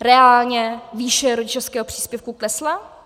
reálně výše rodičovského příspěvku klesla?